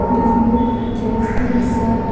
जिसमें जेंस की सर्थ --